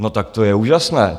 No tak to je úžasné!